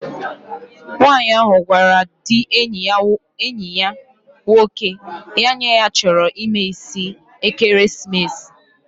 Nwaanyi ahu gwara di enyi ya nwoke, ya nye ya choro imee isi ekeremesis